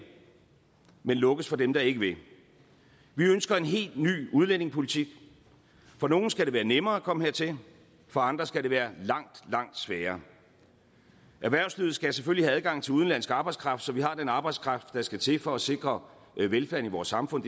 men lukkes for dem der ikke vil vi ønsker en helt ny udlændingepolitik for nogle skal det være nemmere at komme hertil for andre skal det være langt langt sværere erhvervslivet skal selvfølgelig have adgang til udenlandsk arbejdskraft så vi har den arbejdskraft der skal til for at sikre velfærden i vores samfund